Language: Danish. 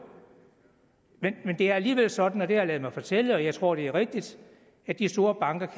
er alligevel sådan har jeg ladet mig fortælle og jeg tror det er rigtigt at de store banker